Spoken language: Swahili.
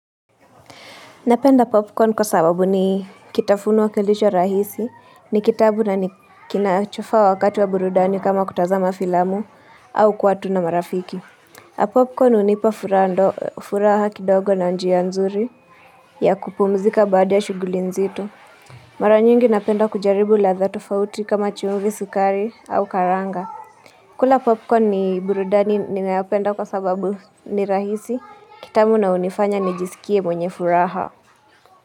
Napenda popcorn kwa sababu ni kitafuno kilicho rahisi, ni kitamu na nikinachofaa wakati wa burudani kama kutazama filamu au kuwa tu na marafiki. Popcorn hunipa furaha kidogo na njia nzuri ya kupumzika baada ya shughuli nzito Mara nyingi napenda kujaribu ladha tofauti kama chumvi sukari au karanga. Kula popcorn ni burudani ninayopenda kwa sababu ni rahisi, kitamu na hunifanya nijisikie mwenye furaha.